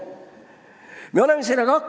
Aga me oleme hakkama saanud.